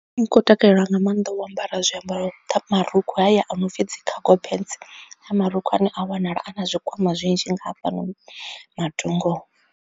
Ndi khou takalela nga maanḓa u ambara zwiambaro marukhu haya a no pfhi dzi cago pants marukhu a ne a wanala a na zwikwama zwinzhi nga hafhanoni matungo.